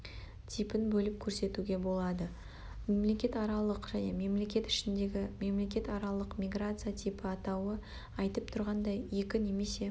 типін бөліп көрсетуге болады-мемлекетаралық және мемлекет ішіндегі мемлекетаралық миграция типі атауы айтып тұрғандай екі немесе